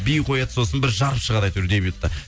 би қояды сосын бір жарып шығарады әйтеуір дебютты